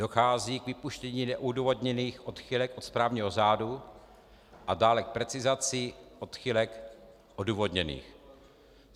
Dochází k vypuštění neodůvodněných odchylek od správního řádu a dále k precizaci odchylek odůvodněných.